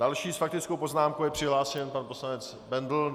Další s faktickou poznámkou je přihlášen pan poslanec Bendl.